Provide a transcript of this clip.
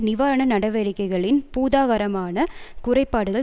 நிவாரண நடவடிக்கைகளின் பூதாகாரமான குறைபாடுகள்